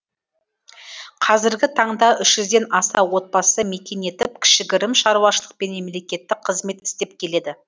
қазіргі таңда үш жүзден аса отбасы мекен етіп кішігірім шаруашылық пен мемлекеттік қызмет істеп келеді